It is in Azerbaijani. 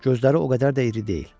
Gözləri o qədər də iri deyil.